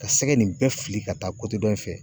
Ka sɛgɛ nin bɛɛ fili ka taa dɔ in fɛ.